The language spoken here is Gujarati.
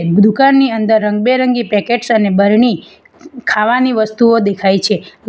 દુકાનની અંદર રંગબેરંગી પેકેટ્સ અને બરણી ખાવાની વસ્તુઓ દેખાય છે.